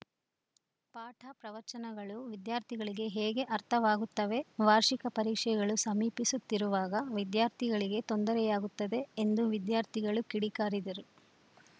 ಪಾಠ ಪ್ರವಚನಗಳು ವಿದ್ಯಾರ್ಥಿಗಳಿಗೆ ಹೇಗೆ ಅರ್ಥವಾಗುತ್ತವೆ ವಾರ್ಷಿಕ ಪರೀಕ್ಷೆಗಳು ಸಮೀಪಿಸುತ್ತಿರುವಾಗ ವಿದ್ಯಾರ್ಥಿಗಳಿಗೆ ತೊಂದರೆಯಾಗುತ್ತದೆ ಎಂದು ವಿದ್ಯಾರ್ಥಿಗಳು ಕಿಡಿಕಾರಿದರು